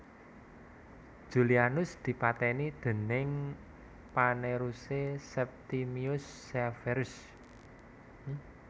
Julianus dipatèni déning panerusé Septimius Severus